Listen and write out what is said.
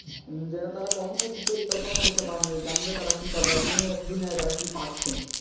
যেটা তারা কখনই পরিকল্পনা করতেই পারে নাই যে জানেনা যে তারা কি পাবে আর দুনিয়াই তারা কি পাচ্ছে.